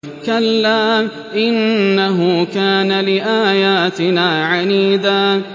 كَلَّا ۖ إِنَّهُ كَانَ لِآيَاتِنَا عَنِيدًا